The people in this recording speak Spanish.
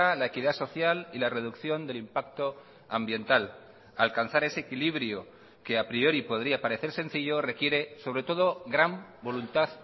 la equidad social y la reducción del impacto ambiental alcanzar ese equilibrio que a priori podría parecer sencillo requiere sobre todo gran voluntad